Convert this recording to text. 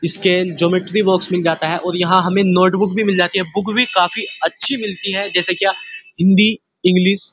इसके geometry box मिल जाता है और यहाँ हमे नोटबुक भी मिल जाती है बुक भी काफी अच्छी मिलती है जैसे क्या हिंदी इंग्लिश ।